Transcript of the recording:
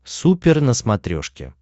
супер на смотрешке